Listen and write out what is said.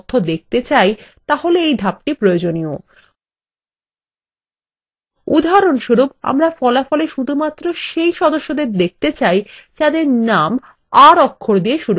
উদাহরণস্বরূপ আমরা ফলাফলwe শুধুমাত্র set সদস্যদের দেখতে চাই যাদের name r অক্ষর দিয়ে শুরু হয়েছে